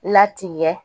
Latigɛ